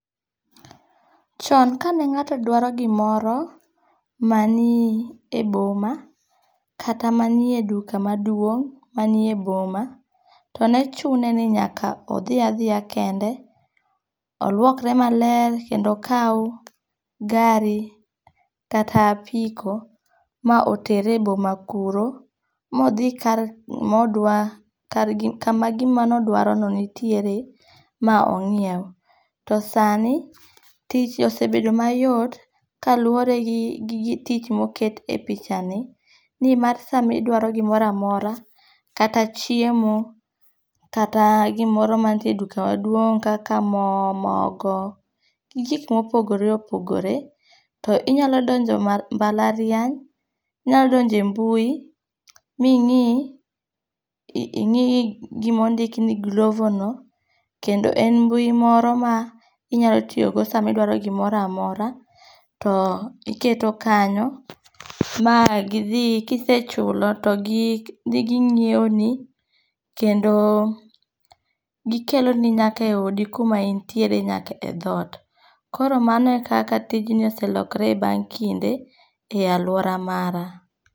Chon ka ne ngáto dwaro gimoro mani e boma, kata manie duka maduong' manie boma, to ne chune ni nyaka odhi a dhiya kende. Olwokre maler, kendo okaw gari, kata apiko ma otere e boma kuro. Modhi kar, modwa kar kama gima nodwarono nitiere ma ongíew. To sani, tich osebedo mayot, kaluwore gi tich moket e pichani, ni mar sama idwaro gimoro amora, kata chiemo, kata gimoro manitiere e duka maduong' kaka mo, mogo, gi gik mopogore opogore, to inyalo donjo mbalariany, inyalo donjo e mbui, mi ing'i, ing'i gima ondikni Glovono. Kendo en mbui moro ma inyalo tiyogo sama idwaro gimoro amora, to iketo kanyo, ma gidhi, kisechulo, to gi, ginyiewoni, kendo gikeloni nyaka e odi kuma in ntiere, nyaka e dhot. Koro mano e kaka tijni oselokore e bang' kinde e alwora mara.